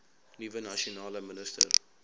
nuwe nasionale minister